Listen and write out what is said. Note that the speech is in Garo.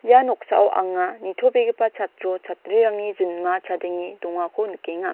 ia noksao anga nitobegipa chatro chatrirangni jinma chadenge dongako nikenga.